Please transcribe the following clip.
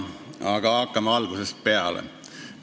Aga hakkame algusest peale.